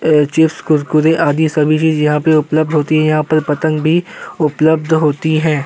Chips Kurkure अदि सब चीजे यहाँ पे उपलब्ध होती है। यहाँ पे पतंग भी उपलब्ध होती हैं।